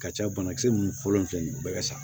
Ka ca banakisɛ mun fɔlɔ filɛ nin ye u bɛɛ ka sa